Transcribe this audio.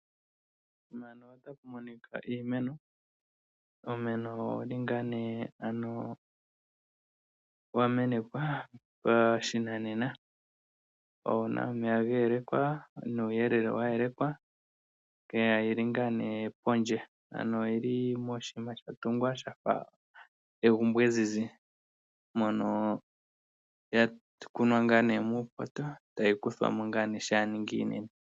Uumeno owu li ngaa nee ano wa menekwa pashinanena, owu na omeya ga yelekwa, nuuyelele wa yelekwa, yo oyi li ngaa nee pondje. Ano oyi li moshiima Sha tungwa Sha fa egumbo ezizi mono ya kunwa ngaa nee muupoto, tayi kuthwa mo ngaa nee shaa ya ningi iinene.